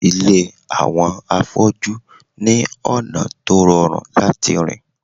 Ilé àwọn afọ́jú ní ọ̀nà tó rọrùn láti rìn